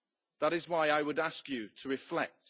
That is why I would ask you to reflect.